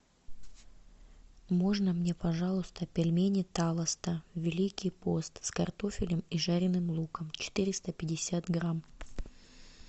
можно мне пожалуйста пельмени талосто великий пост с картофелем и жареным луком четыреста пятьдесят грамм